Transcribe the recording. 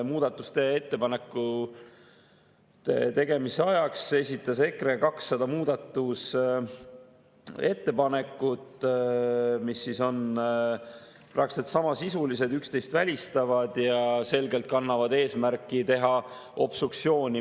Muudatusettepanekute tegemise ajaks esitas EKRE 200 muudatusettepanekut, mis on praktiliselt samasisulised, üksteist välistavad ja selgelt kannavad eesmärki teha obstruktsiooni.